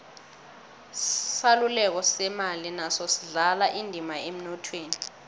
isaluleko semali naso sidlala indima emnothweni